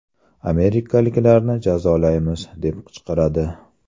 Amerikaliklarni jazolaymiz!” deb qichqiradi.